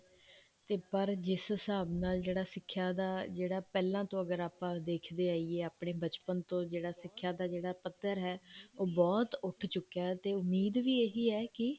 ਤੇ ਪਰ ਜਿਸ ਹਿਸਾਬ ਨਾਲ ਜਿਹੜਾ ਸੀ ਸਿਖਿਆ ਦਾ ਪਹਿਲਾਂ ਤੋਂ ਅਗਰ ਆਪਾਂ ਦੇਖਦੇ ਆਈਏ ਆਪਣੇ ਬਚਪਨ ਤੋਂ ਸਿਖਿਆ ਦਾ ਜਿਹੜਾ ਪੱਧਰ ਹੈ ਉਹ ਬਹੁਤ ਉੱਠ ਚੁੱਕਿਆ ਤੇ ਉਮੀਦ ਵੀ ਇਹੀ ਹੈ ਕੀ